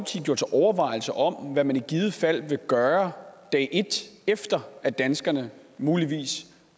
gjort sig overvejelser om hvad man i givet fald vil gøre dag et efter at danskerne muligvis